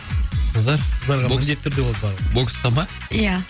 қыздар қыздарға міндетті түрде болады баруға боксқа ма ия